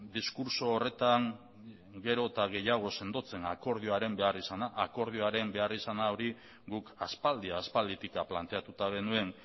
diskurtso horretan gero eta gehiago sendotzen akordioaren behar izana akordioaren behar izan hori guk aspaldi aspalditik planteatuta genuen